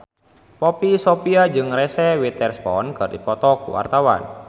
Poppy Sovia jeung Reese Witherspoon keur dipoto ku wartawan